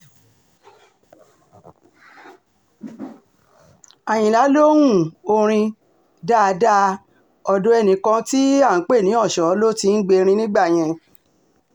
àyìnlá lohun orin dáadáa ọ̀dọ̀ ẹnìkan tí à ń pè ní ọ̀ṣọ́ ló ti ń gbẹ̀rín nígbà yẹn